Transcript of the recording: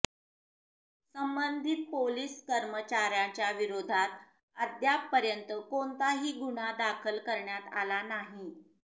संबंधित पोलिस कर्मचाऱ्याच्या विरोधात अद्यापपर्यंत कोणताही गुन्हा दाखल करण्यात आला नाही